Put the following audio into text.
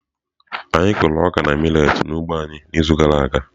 Anyị kụrụ ọka na millet n'ugbo anyị n'izu gara aga.